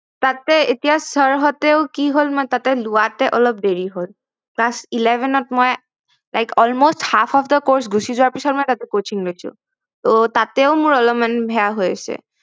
তাতে এতিয়া ছাৰ হতেও কি হল মই তাতে লোৱাতে অলপ দেৰি হল class eleven ত মই like almost half of the course গুছি যোৱাৰ পিছত মই তাতে coaching লৈছো